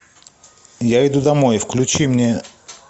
я иду домой включи мне